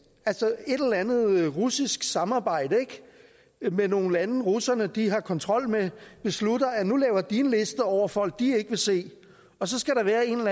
altså et eller andet russisk samarbejde med nogle lande russerne har kontrol med beslutter at nu laver de en liste over folk de ikke vil se og så skal der være en